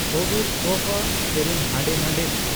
ᱠᱳᱵᱤᱨ ᱠᱟᱯᱷ ᱟᱜ ᱥᱮᱨᱮᱧ ᱦᱟᱸᱰᱮ ᱱᱟᱸᱰᱮᱭ ᱢᱮ ᱾